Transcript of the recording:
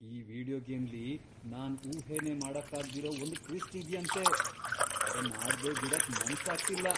ಈ ವೀಡಿಯೋ ಗೇಮ್ಲಿ ನಾನ್ ಊಹೆನೇ ಮಾಡಕ್ಕಾಗ್ದಿರೋ ಒಂದ್ ಟ್ವಿಸ್ಟ್ ಇದ್ಯಂತೆ! ಅದನ್ ಆಡ್ದೆ ಬಿಡಕ್ ಮನ್ಸಾಗ್ತಿಲ್ಲ!